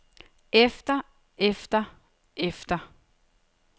efter efter efter